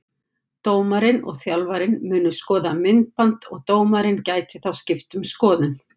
Dómarinn og þjálfarinn munu skoða myndband og dómarinn gæti þá skipt um skoðun.